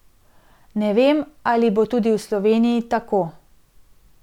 Ne vem, ali bo tudi v Sloveniji tako.